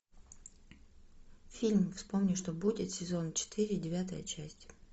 фильм вспомни что будет сезон четыре девятая часть